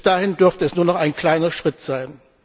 Bis dahin dürfte es nur noch ein kleiner Schritt sein.